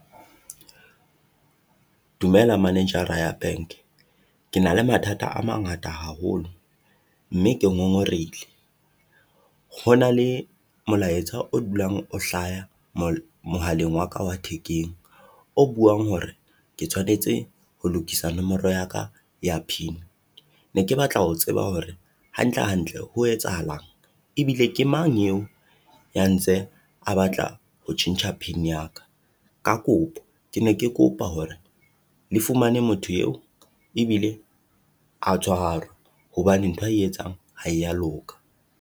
Dumela manager-ra ya bank, ke na le mathata a mangata haholo mme ke ngongorehile. Ho na le molaetsa o dulang o hlaya mohaleng wa ka wa thekeng o buang hore ke tshwanetse ho lokisa nomoro ya ka ya pin. Ne ke batla ho tseba hore hantle hantle, ho etsahalang? Ebile ke mang eo ya ntse a batla ho tjhentjha pin ya ka? Ka kopo ke ne ke kopa hore le fumane motho eo, ebile a tshwarwe hobane ntho ae etsang ha ya loka.